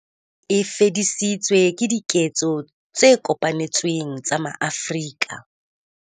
E fedisitswe ke diketso tse kopanetsweng tsa maAfrika